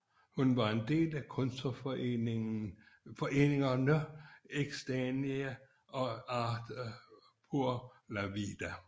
Hun var en del af kunstnerforeningerne Ex Dania og Arte por la Vida